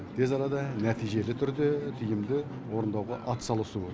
тез арада нәтижелі түрде тиімді орындауға атсалысуы